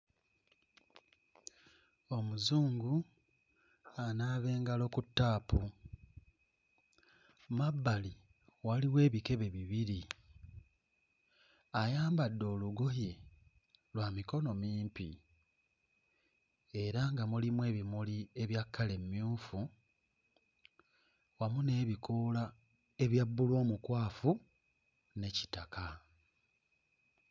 Omuzungu anaaba engalo ku ttaapu, mu mabbali waliwo ebikebe bibiri. Ayambadde olugoye lwa mikono mimpi era nga mulimu ebimuli ebya kkala emmyufu wamu n'ebikoola ebya bbulu omukwafu ne kitaka.